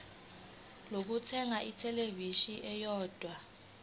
lokuthenga ithelevishini eyodwa